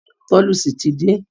Tolucci ti dé.